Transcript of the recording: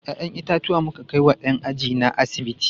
Ya'yan itatuwa muka kai wa ɗan ajina a asibiti.